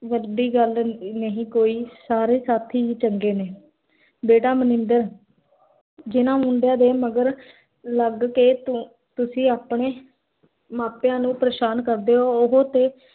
ਵੱਡੀ ਗਲ ਨਹੀ ਕੋਈ, ਸਾਰੇ ਸਾਥੀ ਹੀ ਚੰਗੇ ਨੇ ਬੇਟਾ ਮਨਿੰਦਰ ਜਿੰਨਾ ਮੁੰਡਿਆਂ ਦੇ ਮਗਰ ਲਾਗ ਕੇ, ਤੁਸੀਂ ਆਪਣੇ ਮਾਪਿਆਂ ਨੂੰ ਪਰੇਸ਼ਾਨ ਕਰਦੇ ਹੋ, ਓਹੋ ਤੇ